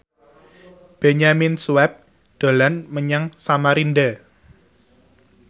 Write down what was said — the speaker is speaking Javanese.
Benyamin Sueb dolan menyang Samarinda